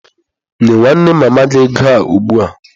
Nye nwanne mama gi ego a ugbua!